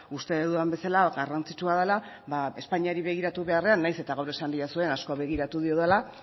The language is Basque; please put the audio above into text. uste dudan bezala garrantzitsua dela espainiari begiratu beharrean nahiz eta gaur esan didazuen asko begiratu diodala